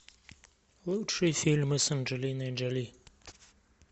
лучшие фильмы с анджелиной джоли